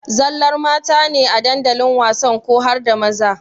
Zallar mata ne a dandalin wasan ko harda maza?